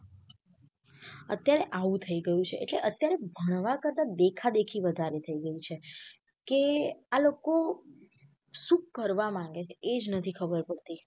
અત્યારે આવું થઇ ગયું છે એટલે અત્યારે ભણવા કરતા દેખા દેખી વધારે થઇ ગયી છે કે આ લોકો સુ કરવા માંગે છે એજ ખબર નથી પડતી.